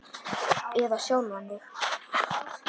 Eða sjálfan þig.